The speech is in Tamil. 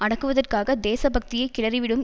அடக்குவதற்காக தேசபக்தியை கிளறிவிடும்